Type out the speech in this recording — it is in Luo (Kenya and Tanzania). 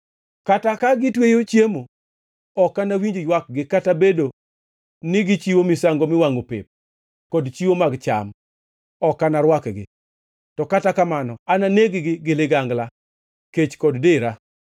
Kata ka gitweyo chiemo; ok anawinj ywakgi; kata bed ni gichiwo misango miwangʼo pep kod chiwo mag cham, ok anarwakgi. To kata kamano ananeg-gi gi ligangla, kech kod dera.”